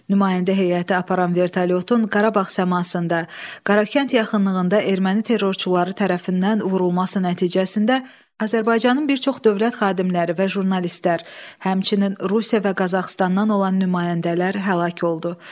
Nümayəndə heyəti aparan vertolyotun Qarabağ səmasında Qarakənd yaxınlığında erməni terrorçuları tərəfindən vurulması nəticəsində Azərbaycanın bir çox dövlət xadimləri və jurnalistlər, həmçinin Rusiya və Qazaxıstandan olan nümayəndələr həlak oldu.